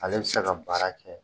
Ale bɛ se ka baara kɛ